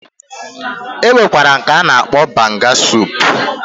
Enwere nke ana akpokwa banga soup